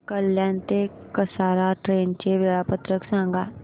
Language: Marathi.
कल्याण ते कसारा ट्रेन चे वेळापत्रक सांगा